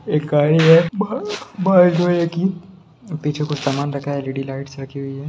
एक गाड़ी है की पीछे कुछ समान रखा है एल.इ.डी. लाइट्स रखी हुई है।